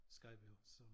Skejby så